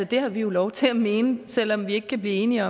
det har vi jo lov til at mene selv om vi ikke kan blive enige